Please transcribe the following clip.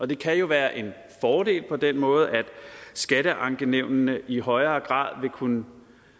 det kan være en fordel på den måde at skatteankenævnene i højere grad vil kunne